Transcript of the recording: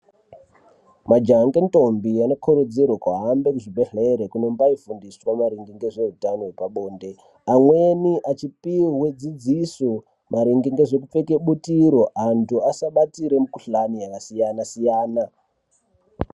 Majaha ngendombi anokurudzire kuhambe kuzvibhedhlere kunombaifungiswa maringe ngezveutano hwepabonde. Amweni achipihwe dzidziso maringe ngezvekupfeke butiro antu asabatire mikuhlani yakasiyana-siyana.